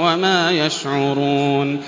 وَمَا يَشْعُرُونَ